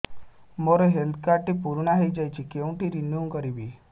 ମୋ health card ଟି ପୁରୁଣା ହେଇଯାଇଛି କେଉଁଠି ରିନିଉ କରିବି